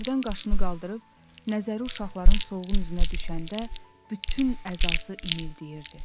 Hərdən qaşını qaldırıb, nəzəri uşaqların solğun üzünə düşəndə, bütün əzası inildəyirdi.